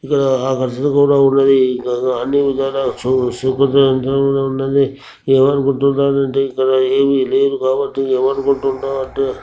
ఇక్కడ అన్ని విదాలా ఏమనుకుంటున్నాడంటే ఇక్కడ ఏమీ లేదు కాబట్టి ఏమనుకుంటున్నాడంటే--